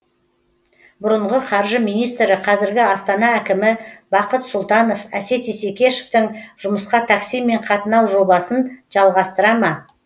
бұрынғы қаржы министрі қазіргі астана әкімі бақыт сұлтанов әсет исекешевтің жұмысқа таксимен қатынау жобасын жалғастыра ма